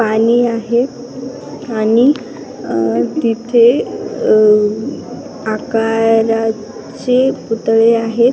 पाणी आहे आणि तिथे अ आकारा चे पुतळे आहेत.